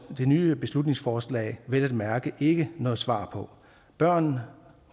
nye beslutningsforslag vel at mærke ikke noget svar på børn